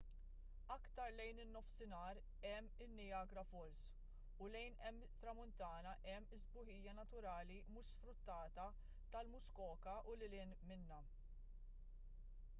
aktar lejn in-nofsinhar hemm in-niagara falls u lejn it-tramuntana hemm is-sbuħija naturali mhux sfruttata tal-muskoka u lil hinn minnha